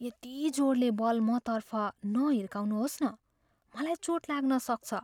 यति जोडसँग बल मतर्फ नहिर्काउनुहोस् न। मलाई चोट लाग्न सक्छ।